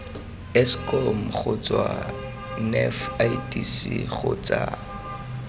eskom kgotsa nef idc kgotsa